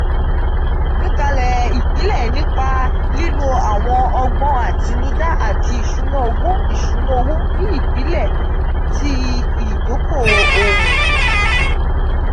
awọn agbekale ipilẹ nipa lilo awon ogbon atinuda niti isuna owo isuna owo ni ipilẹ ti idoko-owo.